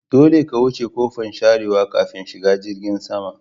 Dolle ka wuce ƙofan sharewa ƙafin shiga jirgin sama.